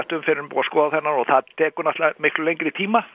um fyrr en er búið að skoða þær nánar og það tekur náttúrlega miklu lengri tíma